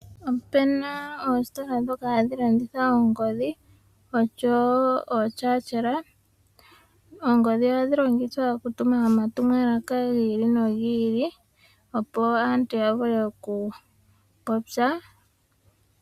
Opena oositola ndhoka hadhi landitha oongodhi osho wo ootyaatyela. Oongodhi ohadhi longithwa okutuma omatumwalaka gi ili nogi ili opo aantu ya vule okupopya.